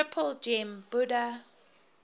triple gem buddha